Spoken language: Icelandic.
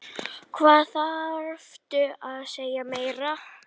Hvað þarftu að segja meira?